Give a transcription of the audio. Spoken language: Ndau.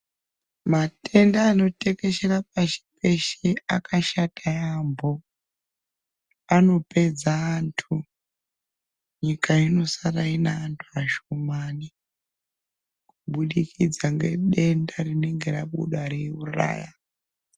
Matenda anotekeshera pashi peshe akashata yaamho, anopedza antu. Nyika inosara ine antu ashomani kubudikidza ngedenda rinenge rabuda reiuraya.